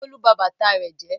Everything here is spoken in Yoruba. Bólú ba bàtà rẹ̀ jẹ́.